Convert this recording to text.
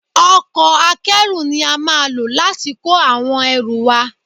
Ọkọ̀ Akẹ́rù ni a máa lò láti kó àwọn ẹrú wa